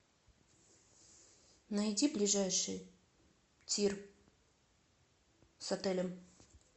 найди ближайший тир с отелем